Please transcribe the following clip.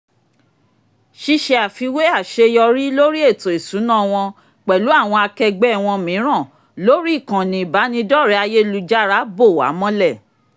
ṣíṣe àfiwé àṣeyọrí lórí ètò ìṣúná wọn pẹ̀lú àwọn akẹgbẹ́ wọn mìíràn lórí ìkànnì ìbánidọ́rẹ̀ẹ́ ayélujára bò wá mọ́lẹ̀